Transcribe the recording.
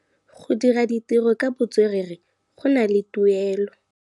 Go dira ditirô ka botswerere go na le tuelô.